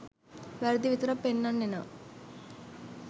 වැරදි විතරක් පෙන්නන්න එනව